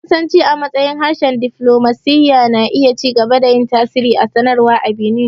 Faransi, a matsayin harshen diflomasiyya, na iya ci gaba da yin tasiri a sadarwa a Benin.